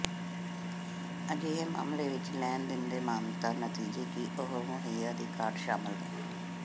ਅਜਿਹੇ ਮਾਮਲੇ ਵਿੱਚ ਲੈਣ ਦਿੰਦੇ ਮਾਨਤਾ ਨਤੀਜੇ ਕਿ ਉਹ ਮੁਹੱਈਆ ਦੀ ਘਾਟ ਸ਼ਾਮਲ ਹੈ